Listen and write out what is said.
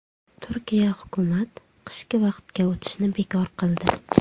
Turkiya hukumat qishki vaqtga o‘tishni bekor qildi.